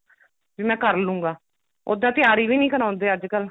ਵੀ ਮੈਂ ਕਰਲੂੰਗਾ ਉੱਦਾਂ ਤਿਆਰੀ ਵੀ ਨਹੀਂ ਕਰਾਉਂਦੇ ਅੱਜਕਲ